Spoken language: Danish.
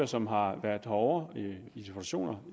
som har været herovre i deputationer